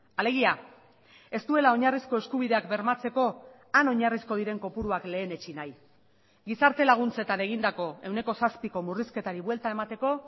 alegia ez duela oinarrizko eskubideak bermatzeko han oinarrizko diren kopuruak lehenetsi nahi gizarte laguntzetan egindako ehuneko zazpiko murrizketari buelta emateko